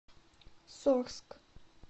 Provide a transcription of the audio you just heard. сорск